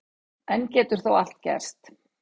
Enn getur þó allt gerst